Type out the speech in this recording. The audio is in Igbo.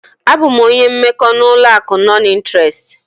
Abụ m onye mmekọ n'ụlọ akụ nọn ịnterest.